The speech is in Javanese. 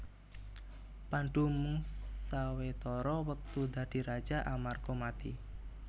Pandhu mung sawetara wektu dadi raja amarga mati